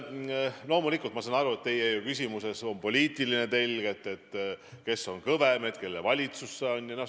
Loomulikult ma saan aru, et teie küsimuse poliitiline telg on küsimus, kes on kõvem, kelle valitsus meil on.